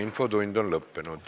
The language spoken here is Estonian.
Infotund on lõppenud.